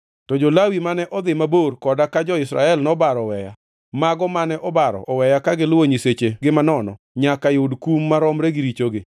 “ ‘To jo-Lawi mane odhi mabor koda ka jo-Israel nobaro oweya, mago mane obaro oweya ka giluwo nyisechegi manono, nyaka yud kum maromre gi richogi.